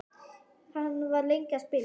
Hann var lengi að spila.